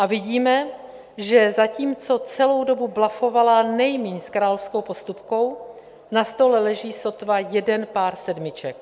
A vidíme, že zatímco celou dobu blufovala nejmíň s královskou postupkou, na stole leží sotva jeden pár sedmiček.